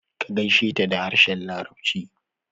Ka gaisheta da harshen larabci